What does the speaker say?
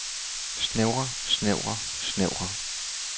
snævre snævre snævre